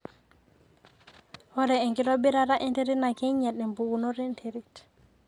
ore enkitobirata enterit naa keing'iel empikunoto e nterit